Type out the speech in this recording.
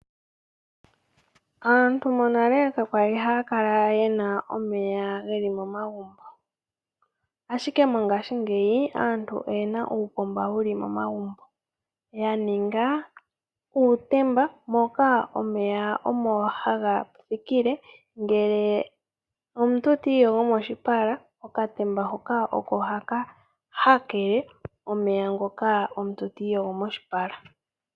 Aantu monale kayali haya kala yena omeya geli momagumbo ashike mongashingeyi aantu oyena uupomba wuli momagumbo, ya ninga uutemba moka omeya omo haga thikile. Ngele omuntu tiiyogo moshipala okatemba hoka oko haka hakele omeya ngoka omuntu tiiyogo moshipala.